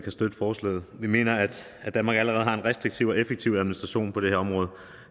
støtte forslaget vi mener at danmark allerede har en restriktiv og effektiv administration på det her område